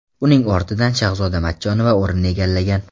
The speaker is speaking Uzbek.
Uning ortidan Shahzoda Matchonova o‘rin egallagan.